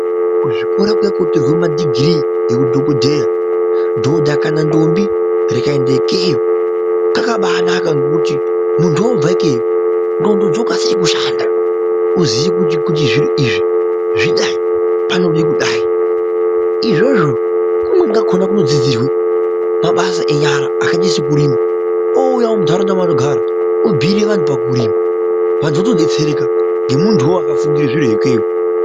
Kuzvikora kwekupirwe madhigiri ehudhokodheya, dhodha kana ndombi rikaenda ikeyo kakabana ngekuti muntu obvake ndxondo dzokasire kushanda ozoye kuti zviro izvi zvidai panode kudai izvozvo kumweni kakona kunodzidzirwe mabasa enyara akaita sekurima ouyawo muntaraunda yaanogara obhire vantu pakurima vantu votodetsereka ngemunduwo wakafundire zviro ikweyo.